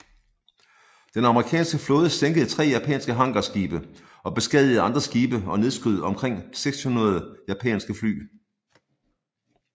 Den amerikanske flåde sænkede tre japanske hangarskibe og beskadigede andre skibe og nedskød omkring 600 japanske fly